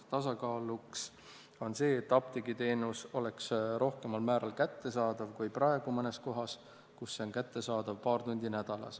Tasakaaluks on see, et apteegiteenus oleks rohkemal määral kättesaadav kui praegu mõnes kohas, kus see on kättesaadav paar tundi nädalas.